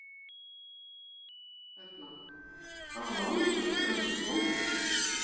Erla: Hvaða máli skiptir að það sé kona?